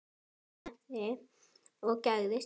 Ég opnaði og gægðist inn.